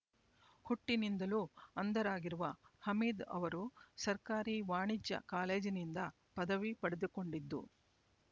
ಹುಟ್ಟಿನಿಂದಲೂ ಅಂಧರಾಗಿರುವ ಹಮೀದ್ ಅವರು ಸರ್ಕಾರಿ ವಾಣಿಜ್ಯ ಕಾಲೇಜಿನಿಂದ ಪದವಿ ಪಡೆದುಕೊಂಡಿದ್ದು